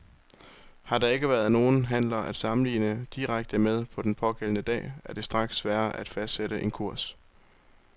Har der ikke været nogen handler at sammenligne direkte med den pågældende dag, er det straks sværere at fastsætte en kurs.